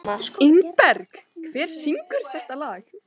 Ingberg, hver syngur þetta lag?